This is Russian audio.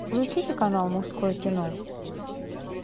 включите канал мужское кино